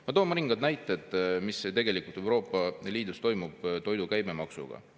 Ma toon mõningad näited, mis tegelikult Euroopa Liidus toimub toidu käibemaksuga.